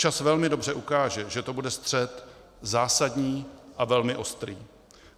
Čas velmi dobře ukáže, že to bude střet zásadní a velmi ostrý.